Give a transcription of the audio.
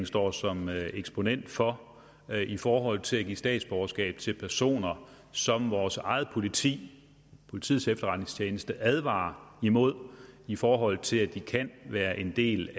står som eksponent for i forhold til at give statsborgerskab til personer som vores eget politi politiets efterretningstjeneste advarer imod i forhold til at de kan være en del